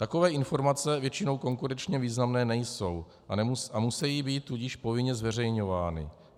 Takové informace většinou konkurenčně významné nejsou, a musí být tudíž povinně zveřejňovány.